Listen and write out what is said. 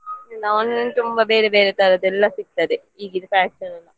Online ಅಲ್ಲಿ ತುಂಬಾ ಬೇರೆ ಬೇರೆ ತರದೆಲ್ಲಾ ಸಿಗ್ತದೆ ಈಗಿನ fashion .